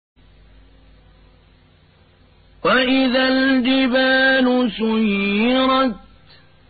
وَإِذَا الْجِبَالُ سُيِّرَتْ